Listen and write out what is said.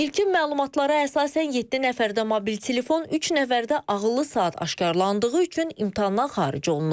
İlkin məlumatlara əsasən 7 nəfərdə mobil telefon, 3 nəfərdə ağıllı saat aşkarlandığı üçün imtahandan xaric olunub.